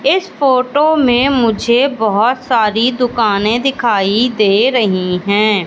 इस फोटो में मुझे बहोत सारी दुकाने दिखाई दे रही हैं।